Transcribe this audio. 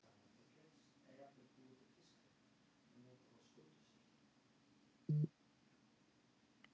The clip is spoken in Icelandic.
Gunnar Atli Gunnarsson: Hver er svona hugsunin á bak við þessa hönnun hjá ykkur?